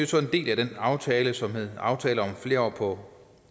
så en del af den aftale som hedder aftale om flere år på